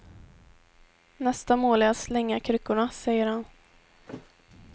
Nästa mål är att slänga kryckorna, säger han.